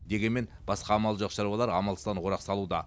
дегенмен басқа амалы жоқ шаруалар амалсыздан орақ салуда